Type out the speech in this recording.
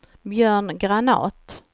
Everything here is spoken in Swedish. Björn Granath